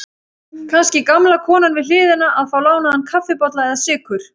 Kannski gamla konan við hliðina að fá lánaðan kaffibolla eða sykur.